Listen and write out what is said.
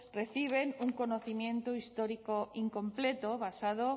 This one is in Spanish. reciben un conocimiento histórico incompleto basado